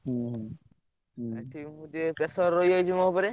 ହୁଁ ହୁଁ ହୁଁ ଏଠି ଟିକେ ମୁଁ pressure ରହିଯାଉଛି ମୋ ଉପରେ।